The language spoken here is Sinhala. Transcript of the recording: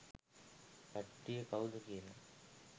කට්ටිය කවුද කියලා.